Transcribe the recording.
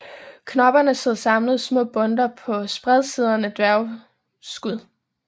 Knopperne sidder samlet i små bundter på spredtsiddende dværgskud